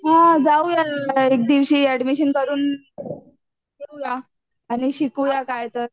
हा जाऊया ना एक दिवशी ऍडमिशन करून घेऊया आणि शिकूया काय तर